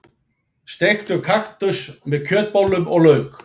Steiktur kaktus með kjötbollum og lauk.